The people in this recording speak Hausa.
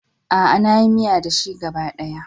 A'a, na yi miya da shi gaba ɗaya.